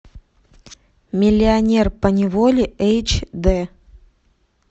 миллионер поневоле эйч дэ